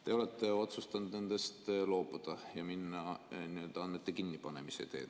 Te olete otsustanud nendest loobuda ja minna andmete kinnipanemise teed.